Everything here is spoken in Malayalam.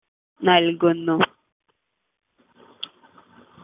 നൽകുന്നു